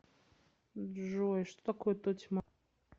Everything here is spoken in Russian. джой что такое тотьма